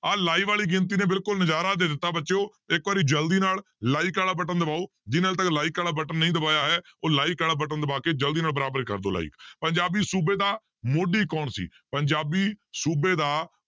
ਆਹ live ਵਾਲੀ ਗਿਣਤੀ ਨੇ ਬਿਲਕੁਲ ਨਜ਼ਾਰਾ ਦੇ ਦਿੱਤਾ ਬੱਚਿਓ ਇੱਕ ਵਾਰੀ ਜ਼ਲਦੀ ਨਾਲ like ਵਾਲਾ button ਦਬਾਓ ਜਿਹਨੇ ਹਾਲੇ like ਵਾਲਾ button ਨਹੀਂ ਦਬਾਇਆ ਹੈ, ਉਹ like ਵਾਲਾ button ਦਬਾ ਕੇ ਜ਼ਲਦੀ ਨਾਲ ਬਰਾਬਰ ਕਰ ਦਓ like ਪੰਜਾਬੀ ਸੂਬੇ ਦਾ ਮੋਢੀ ਕੌਣ ਸੀ, ਪੰਜਾਬੀ ਸੂਬੇ ਦਾ